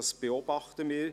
Dies beobachten wir.